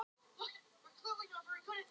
Stefán hagræddi sér á undnum skipsfjölunum.